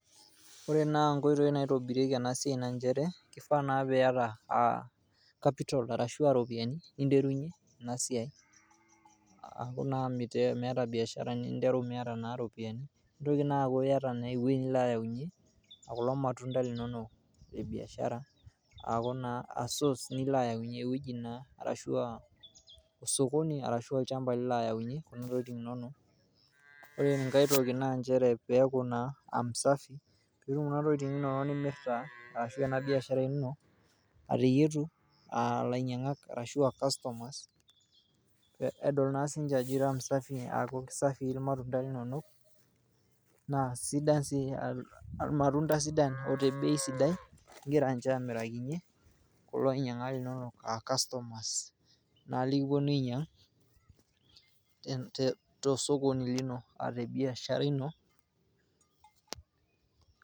Ore naa nkoitoi naitobirieki ena siai naa nchere kifaa naa piata capital arashuaa iropiyian ninterunyie ena siai . Aaaku naa miata biashara niteru Miata naa iropiyian. Nintoki naa aku iyata naa ewuei nilo ayaunyie kulo matunda linonok le biashara aa source nilo ayaunyie. Ewueji naa ,arashua osokoni arashu olchamba Lilo ayaunyie Kuna tokitin inonok .ore enkae toki naa piyaku naa msafi . Keyieu Kuna tokitin nimirta arashu ena biashara ino ateyietu ilainyangak arashu a customers edol naa sinche Ajo ira msafi . Amu kisafii irmatunda linonok naa irmatunda sidan ote bei sidai ingira inche amirakinyie kulo ainyangak linonok .